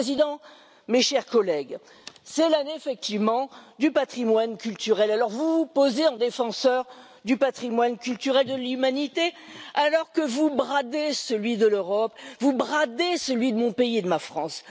Monsieur le Président, mes chers collègues, c'est effectivement l'année du patrimoine culturel, alors vous vous posez en défenseur du patrimoine culturel de l'humanité alors que vous bradez celui de l'Europe, vous bradez celui de mon pays et de ma France.